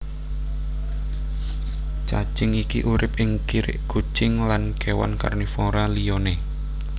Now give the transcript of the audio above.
Cacing iki urip ing kirik kucing lan kéwan karnivora liyané